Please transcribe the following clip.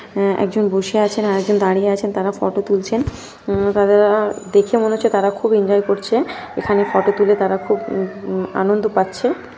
অ্যাঁ একজন বসে আছেন আর একজন দাঁড়িয়ে আছেন তারা ফটো তুলছেন উম তাদের দেখে মনে হচ্ছে তারা খুব ইনজয় করছে এখানে ফটো তুলে তারা খুব আনন্দ পাচ্ছে।